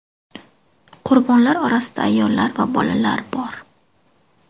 Qurbonlar orasida ayollar va bolalar bor.